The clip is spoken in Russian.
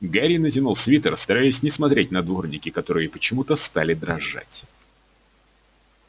гарри натянул свитер стараясь не смотреть на дворники которые почему-то стали дрожать